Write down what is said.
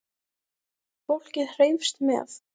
Fólkið hreifst með.